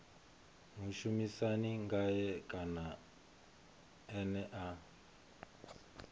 mushumisani ngae kana ene a